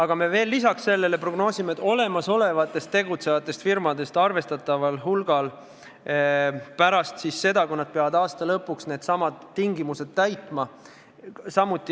Ja veel prognoosime, et arvestatav hulk praegu tegutsevatest firmadest ei jätka pärast seda, kui nad peavad aasta lõpuks uued tingimused täitma.